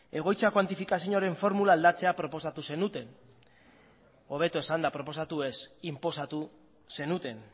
egoitza kuantifikazioaren formula aldatzea proposatu zenuten hobeto esanda proposatu ez inposatu zenuten